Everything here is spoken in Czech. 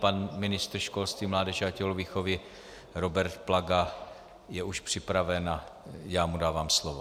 Pan ministr školství, mládeže a tělovýchovy Robert Plaga je už připraven a já mu dávám slovo.